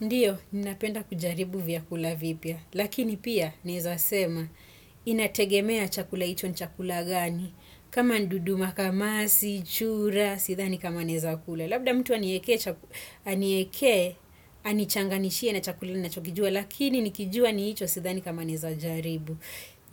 Ndiyo, ninapenda kujaribu vyakula vipya. Lakini pia, nawezasema inategemea chakula hicho ni chakula gani? Kama ni dudu makamasi, chura sidhani kama nawezakula. Labda mtu aniekee, anichanganishie na chakula ninachokijua, lakini nikijua ni hicho sidhani kama naweza jaribu.